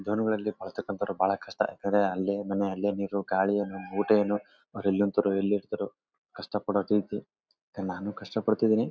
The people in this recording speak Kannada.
ಜನಗಳಲ್ಲಿ ಭಾಷೆ ಕಲ್ತವ್ರು ಭಾಳ ಕಷ್ಟ ಏಕೆಂದ್ರೆ ಅಲ್ಲೇ ಮನೆ ಗಲಿ ಏನು ಊಟ ಏನು ಎಲ್ಲೆಂದರೆ ಅಲ್ಲಿ ಇರ್ತಾರೆ ಕಷ್ಟ ಪಡೋ ರೀತಿ ನಾನು ಕಷ್ಟ ಪಡ್ತಿದ್ದೀನಿ.